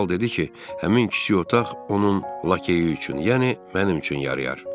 Kral dedi ki, həmin kiçik otaq onun lakeyi üçün, yəni mənim üçün yarayar.